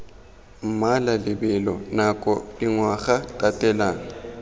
mmala lebelo nako dingwaga tatelano